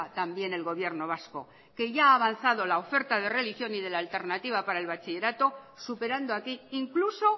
también el gobierno vasco que ya ha avanzado la oferta de religión y de la alternativa para el bachillerato superando aquí incluso